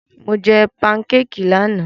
Mo jẹ pankékì lánàá.